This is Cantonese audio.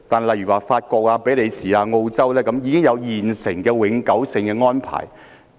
例如法國、比利時、澳洲等已跟中國訂立永久性的引渡安排。